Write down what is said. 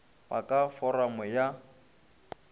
ba ka go foramo ya